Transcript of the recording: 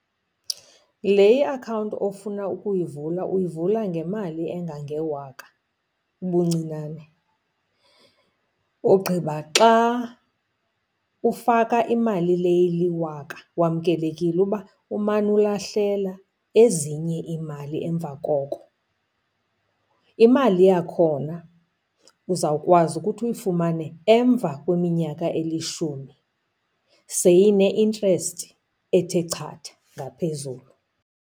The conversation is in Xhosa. Le iakhawunti ofuna ukuyivula uyivula ngemali engangewaka ubuncinane, ogqiba xa ufaka imali le iliwaka wamkelekile uba umane ulahlela ezinye iimali emva koko. Imali yakhona uzawukwazi ukuthi uyifumane emva kweminyaka elishumi seyine interest ethe chatha ngaphezulu.